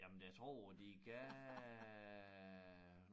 Jamen det jeg tror de gav